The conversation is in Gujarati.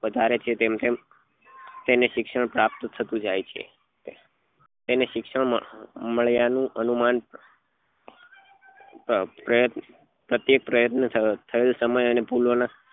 વધારે છે તેમ તેમ તેને શિક્ષણ પ્રાપ્ત થતું જાય છે તેને શિક્ષણ મળ્યા નું અનુમાન પરત પ્રતીપયાત્ન થયેલ સમય તેની ભૂલો નાં